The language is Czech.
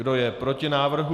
Kdo je proti návrhu?